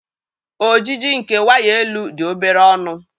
Ojiji nke waya elu dị obere ọnụ.